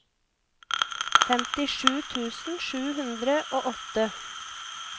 femtisju tusen sju hundre og åtte